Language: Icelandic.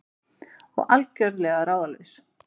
Og algjörlega ráðalaus.